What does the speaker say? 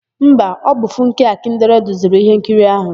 Mba, ọ bụ Funke Akindele duziri íhénkiri áhụ̀.